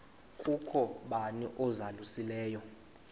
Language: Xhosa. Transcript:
kukho bani uzalusileyo